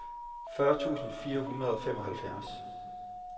fyrre tusind fire hundrede og femoghalvfjerds